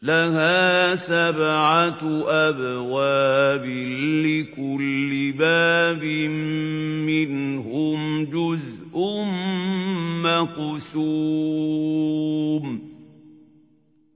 لَهَا سَبْعَةُ أَبْوَابٍ لِّكُلِّ بَابٍ مِّنْهُمْ جُزْءٌ مَّقْسُومٌ